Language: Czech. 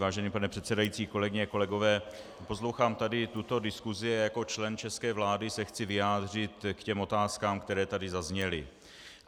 Vážený pane předsedající, kolegyně a kolegové, poslouchám tady tuto diskusi a jako člen české vlády se chci vyjádřit k těm otázkám, které tady zazněly.